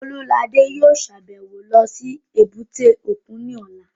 Olúladé yóò sàbẹ̀wo lọ sí èbúté òkun ní ọ̀la